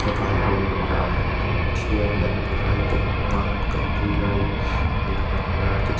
vaiho in aah an pathian an be lai kalkawng a an kalpui lai a lang a ni a tichh.